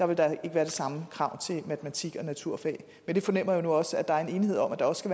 vil der ikke være det samme krav til matematik og naturfag jeg fornemmer nu også at der er en enighed om at der også